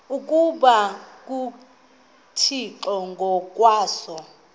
ukuba nguthixo ngokwaso